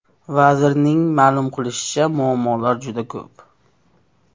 Vazirning ma’lum qilishicha, muammolar juda ko‘p.